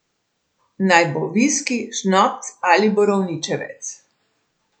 Naj bo viski, šnops, ali borovničevec.